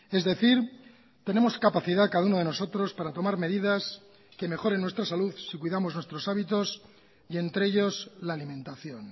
es decir tenemos capacidad cada uno de nosotros para tomar medidas que mejoren nuestra salud si cuidamos nuestros hábitos y entre ellos la alimentación